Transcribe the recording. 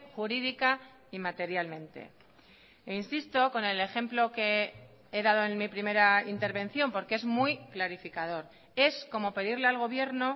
jurídica y materialmente e insisto con el ejemplo que he dado en mi primera intervención porque es muy clarificador es como pedirle al gobierno